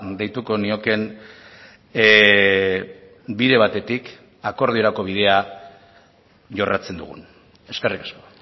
deituko niokeen bide batetik akordiorako bidea jorratzen dugun eskerrik asko